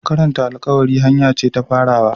Karanta alƙawari hanya ce ta farawa.